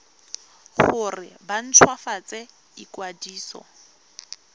gore ba nt hwafatse ikwadiso